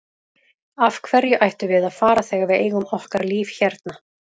Af hverju ættum við að fara þegar við eigum okkar líf hérna?